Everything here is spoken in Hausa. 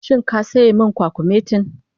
Shin ka sayi min kwakumetin?